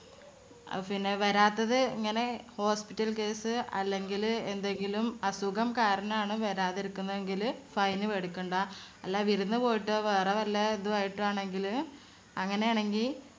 അഹ് പിന്നെ വരാത്തത് ഇങ്ങനെ hospital case അല്ലെങ്കില് എന്തെങ്കിലും അസുഖം കാരണാണ് വരാതിരിക്കുന്നതെങ്കില് fine മേടിക്കണ്ട. അല്ലാ വിരുന്ന് പോയിട്ടോ വേറെ വല്ല~തും ആയിട്ടോ ആണെങ്കില് അങ്ങനെയാണെങ്കിൽ